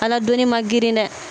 Ala doni man girin dɛ